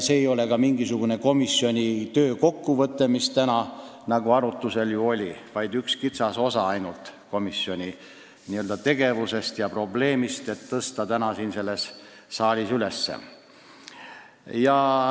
See ei olnud ka mingisugune komisjoni töö kokkuvõte, mis täna arutusel oli, vaid ainult üks kitsas osa komisjoni tegevusest ja probleemist, mis sai siin saalis üles tõstetud.